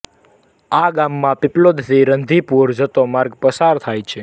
આ ઞામમાં પીપલોદ થી રંધીપુર જતો માર્ગ પસાર થાય છે